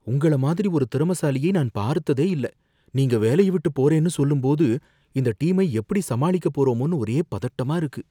உங்கள மாதிரி ஒரு திறமைசாலியை நான் பார்த்ததே இல்ல. நீங்க வேலைய விட்டு போறேன்னு சொல்லும்போது இந்த டீமை எப்படி சமாளிக்க போறோமோனு ஒரே பதட்டமா இருக்கு.